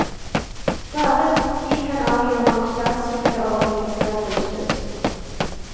Bare de kan avgjøre om statskirkeordningen skal brytes.